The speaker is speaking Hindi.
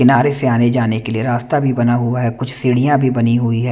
किनारे से आने जाने के लिए रास्ता भी बना हुआ है कुछ सीढियाँ भी बनी हुई हैं।